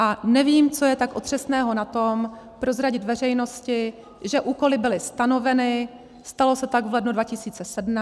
A nevím, co je tak otřesného na tom, prozradit veřejnosti, že úkoly byly stanoveny, stalo se tak v lednu 2017, a musí být plněny.